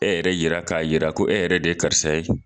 E yɛrɛ yira k'a yira ko e yɛrɛ de ye karisa ye.